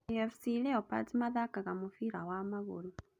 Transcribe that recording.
AFC leopards mathaka mũbira wa magũrũ.